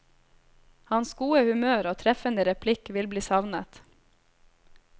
Hans gode humør og treffende replikk vil bli savnet.